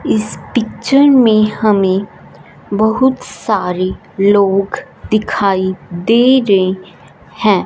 इस पिक्चर में हमें बहुत सारे लोग दिखाई दे रे है।